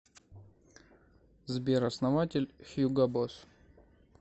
сбер основатель хьюго босс